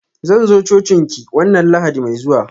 Zan zo cocin ki wanna lahadi mai zuwa.